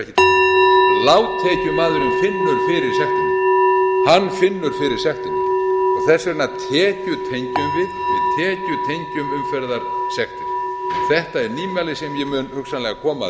sektir þetta er nýmæli sem ég mun hugsanlega koma að síðar hæstvirtur forseti en ég hef því miður runnið út